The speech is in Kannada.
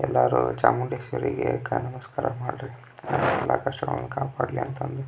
ಎಲ್ಲರೂ ಚಾಮುಂಡೇಶ್ವರಿಗೆ ಕೈ ನಮಸ್ಕಾರ ಮಾಡ್ರಿ ಕಾಪಾಡಲಿ ಅಂತ ಅಂದ.